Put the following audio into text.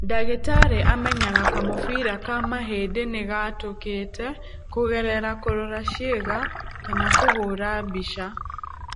Ndagĩtarĩ amenyaga kamũbira ka mahĩndĩ nĩ gatũkĩte kũgerera kũrora ciĩga kana kũhũra mbica.